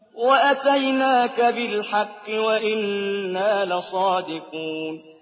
وَأَتَيْنَاكَ بِالْحَقِّ وَإِنَّا لَصَادِقُونَ